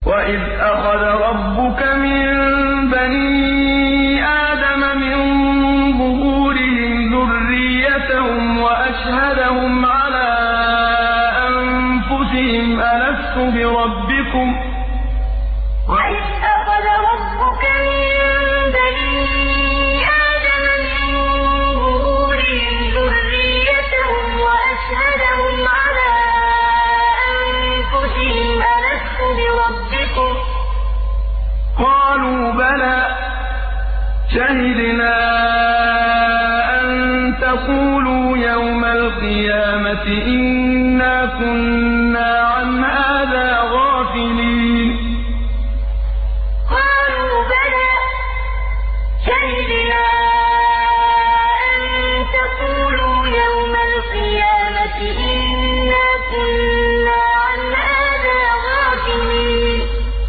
وَإِذْ أَخَذَ رَبُّكَ مِن بَنِي آدَمَ مِن ظُهُورِهِمْ ذُرِّيَّتَهُمْ وَأَشْهَدَهُمْ عَلَىٰ أَنفُسِهِمْ أَلَسْتُ بِرَبِّكُمْ ۖ قَالُوا بَلَىٰ ۛ شَهِدْنَا ۛ أَن تَقُولُوا يَوْمَ الْقِيَامَةِ إِنَّا كُنَّا عَنْ هَٰذَا غَافِلِينَ وَإِذْ أَخَذَ رَبُّكَ مِن بَنِي آدَمَ مِن ظُهُورِهِمْ ذُرِّيَّتَهُمْ وَأَشْهَدَهُمْ عَلَىٰ أَنفُسِهِمْ أَلَسْتُ بِرَبِّكُمْ ۖ قَالُوا بَلَىٰ ۛ شَهِدْنَا ۛ أَن تَقُولُوا يَوْمَ الْقِيَامَةِ إِنَّا كُنَّا عَنْ هَٰذَا غَافِلِينَ